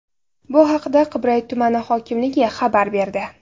Bu haqda Qibray tumani hokimligi xabar berdi.